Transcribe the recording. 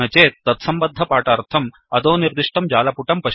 न चेत् तत्सम्बद्धपाठार्थम् अधोनिर्दिष्टं जालपुटं पश्यन्तु